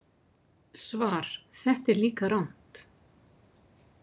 Svar: Þetta er líka rangt.